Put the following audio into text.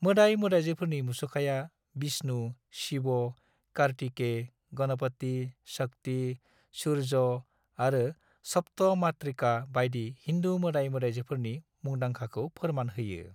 मोदाइ-मोदाइजोफोरनि मुसुखाया विष्णु, शिव, कार्तिकेय, गणपति, शक्ति, सूर्य आरो सप्त मातृका बायदि हिन्दु मोदाइ-मोदाइजोफोरनि मुंदांखाखौ फोरमान होयो।